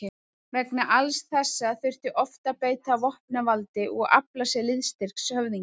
Vegna alls þessa þurfti oft að beita vopnavaldi og afla sér liðstyrks höfðingja.